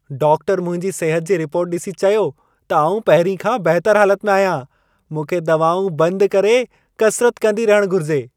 Doctor मुंहिंजी सिहत जी रिपोर्ट ॾिसी चयो त आउं पहिरीं खां बहितर हालत में आहियां। मूंखे दवाऊं बदि करे कसिरत कंदी रहण घुर्जे।